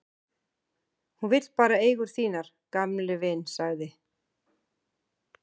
Hún vill bara eigur þínar, gamli vin, sagði